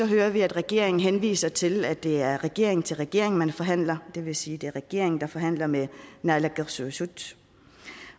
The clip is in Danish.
hører vi at regeringen henviser til at det er regering til regering man forhandler det vil sige at det er regeringen der forhandler med naalakkersuisut